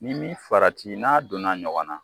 N'i m'i farati n'a donna ɲɔgɔn na.